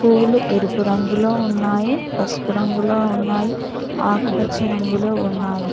పువ్వులు ఎరుపు రంగులో ఉన్నాయి పసుపు రంగులో ఉన్నాయి ఆకుపచ్చ రంగులో ఉన్నాయి